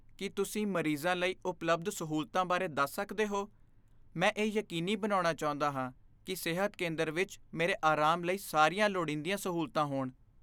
ਕੀ ਤੁਸੀਂ ਮਰੀਜ਼ਾਂ ਲਈ ਉਪਲਬਧ ਸਹੂਲਤਾਂ ਬਾਰੇ ਦੱਸ ਸਕਦੇ ਹੋ? ਮੈਂ ਇਹ ਯਕੀਨੀ ਬਣਾਉਣਾ ਚਾਹੁੰਦਾ ਹਾਂ ਕਿ ਸਿਹਤ ਕੇਂਦਰ ਵਿੱਚ ਮੇਰੇ ਆਰਾਮ ਲਈ ਸਾਰੀਆਂ ਲੋੜੀਂਦੀਆਂ ਸਹੂਲਤਾਂ ਹੋਣ।